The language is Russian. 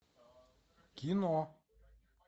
кино